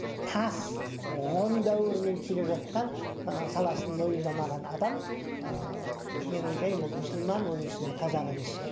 тас ғұн дәуірінен келе жатқан ы саласын мойындамаған адам ыыы мен ойлаймын ол мұсылман оның ішінде қазақ емес шығар